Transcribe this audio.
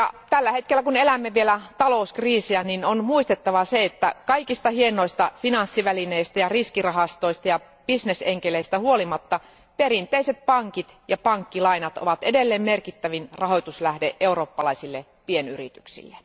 Tällä hetkellä, kun elämme vielä talouskriisiä, niin on muistettava se, että kaikista hienoista finanssivälineistä ja riskirahastoista ja bisnesenkeleistä huolimatta, perinteiset pankit ja pankkilainat ovat edelleen merkittävin rahoituslähde eurooppalaisille pienyrityksille.